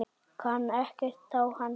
Kann ekkert á hann.